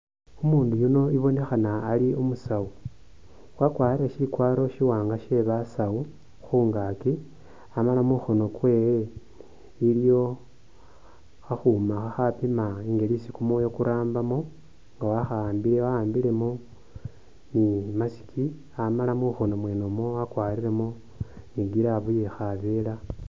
Umundu yuno ibonekhana ali umusawu wakwarire shikwaro shiwanga shee, basawu khungaki amala mukhono kwewe iliyo akhuma khakhapiima mungeli isi kumwoyo kurambamo nga wakhaambile waambilemo ni mask amala mukhono mwene mwo wakwarilemo ni glove iye khavera